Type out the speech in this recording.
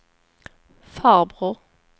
farbror